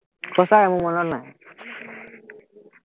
সচাকে মোৰ মনত নাই